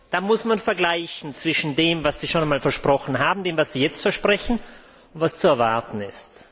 Dann muss man vergleichen zwischen dem, was Sie schon einmal versprochen haben, dem, was Sie jetzt versprechen, und dem, was zu erwarten ist.